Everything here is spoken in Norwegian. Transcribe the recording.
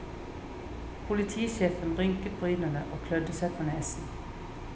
Politisjefen rynket brynene og klødde seg på nesen.